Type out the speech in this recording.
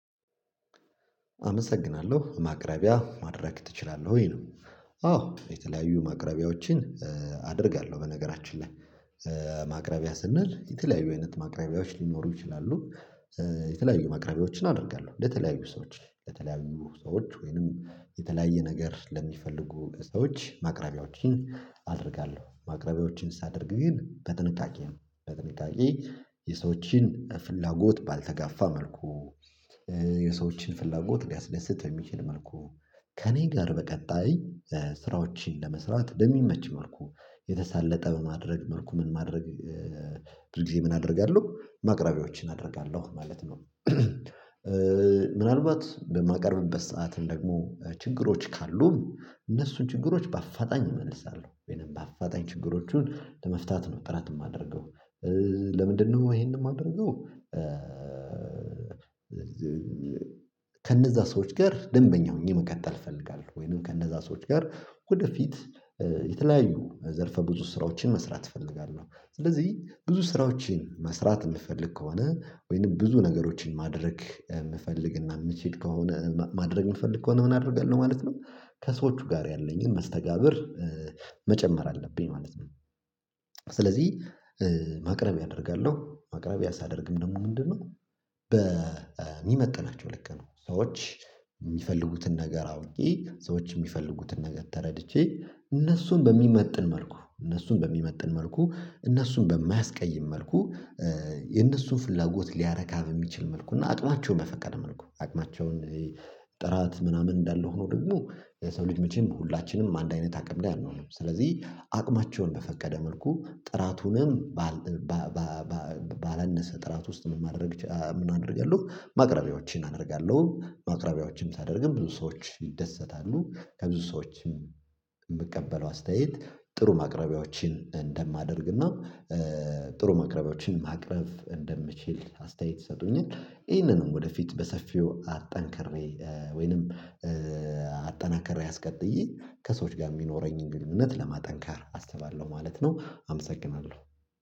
አመሰግናለሁ። ማቅረቢያ ማድረግ ትችላለህ ወይ ነው አዎ የተለያዩ ማቅረቢያዎችን አደርጋለሁ በነገራችን ላይ ማቅረቢያ ስንል የተለያዩ አይነት ማቅረቢያዎች ሊኖሩ ይችላሉ የተለያዩ ማቅረቢያዎችን አደርጋለሁ ለተለያዩ ሰዎች ለተለያዩ ሰዎች ወይንም የተለያየ ነገር ለሚፈልጉ ሰዎች ማቅረቢያዎችን አደርጋለሁ ማቅረቢያዎችን ሳደርግ ግን በጥንቃቄ ነው በጥንቃቄ የሰዎችን ፍላጎት ባልተጋፋ መልኩ የሰዎችን ፍላጎት ሊያስደስት በሚችል መልኩ ከእኔ ጋር በቀጣይ ስራዎችን ለመስራት በሚመች መልኩ የተሳለጠ በማድረግ መልኩ ምን ማድረግ ብዙ ጊዜ ምን አደርጋለሁ ማቅረቢያዎችን አደርጋለሁ ማለት ነው ምናልባት በማቀርብበት ሰዓት ደግሞ ችግሮች ካሉ ካሉ እነሱን ችግሮች በአፋጣኝ እመልሳለሁ ወይንም በአፋጣኝ ችግሮቹን ለመፍታት ነው ጥረት የማደርገው ለምንድነው ይሄንን የማደርገው ከነዛ ሰዎች ጋር ደንበኛ ሆኜ መቀተል እፈልጋለሁ ወይንም ከነዛ ሰዎች ጋር ወደፊት የተለያዩ ዘርፈ ብዙ ስራዎችን መስራት እፈልጋለሁ ስለዚህ ብዙ ስራዎችን መስራት የምፈልግ ከሆነ ወይንም ብዙ ነገሮችን ማድረግ የምፈልግና የምችል ከሆነ ማድረግ የምፈልግ ከሆነ ምን አደርጋለሁ ማለት ነው ከሰዎቹ ጋር ያለኝን መስተጋብር መጨመር አለብኝ ማለት ነው ስለዚህ ማቅረቢያ ያደርጋለሁ ማቅረቢያ ሳደርግም ደግሞ ምንድነው በሚመጥናቸው ልክ ነው ሰዎች የሚፈልጉትን ነገር አውቄ ሰዎች የሚፈልጉትን ነገር ተረድቼ እነሱን በሚመጥን መልኩ እነሱን በሚመጥን መልኩ እነሱን በማያስቀይም መልኩ የነሱን ፍላጎት ሊያረካ በሚችል መልኩ እና አቅማቸውን መፈቀድ መልኩ አቅማቸውን ጥራት ምናምን እንዳለ ሆኖ ደግሞ የሰው ልጅ መቼም ሁላችንም አንድ አይነት አቅም ላይ አንሆንም ስለዚህ አቅማቸውን በፈቀደ መልኩ ጥራቱንም ባል ባለነሰ ጥራት ውስጥ ምን ማድረግ ምን አደርጋለሁ ማቅረቢያዎችን አደርጋለሁ ማቅረቢያዎችም ሳደርግም ብዙ ሰዎች ይደሰታሉ ከብዙ ሰዎች የምቀበለው አስተያየት ጥሩ ማቅረቢያዎችን እንደማደርግና ጥሩ ማቅረቢያዎችን ማቅረብ እንደምችል አስተያየት ይሰጡኛል ይህንንም ወደፊት በሰፊው አጠንክሬ ወይንም አጠናከሬ አስቀጥዬ ከሰዎች ጋር የሚኖረኝን ግንኙነት ለማጠንከር አስባለሁ ማለት ነው አመሰግናለሁ